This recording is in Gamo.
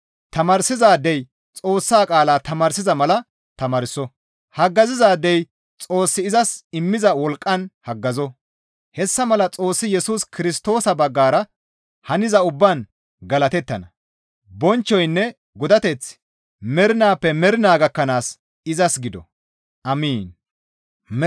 Tamaarsizaadey Xoossa qaala tamaarsiza mala tamaarso; haggazizaadey Xoossi izas immiza wolqqan haggazo; hessa malan Xoossi Yesus Kirstoosa baggara haniza ubbaan galatettana; bonchchoynne godateththi mernaappe mernaa gakkanaas izas gido. Amiin!